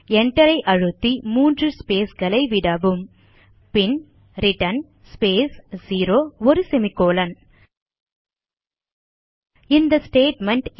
Enter ஐ அழுத்தி மூன்று ஸ்பேஸ் களை விடவும் பின் ரிட்டர்ன் ஸ்பேஸ் 0 மற்றும் ஒரு செமிகோலன் இந்த ஸ்டேட்மெண்ட்